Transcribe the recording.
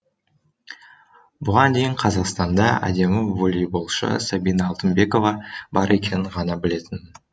бұған дейін қазақстанда әдемі волейболшы сабина алтынбекова бар екенін ғана білетінмін